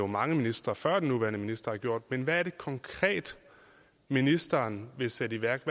mange ministre før den nuværende minister også har gjort men hvad er det konkret ministeren vil sætte i værk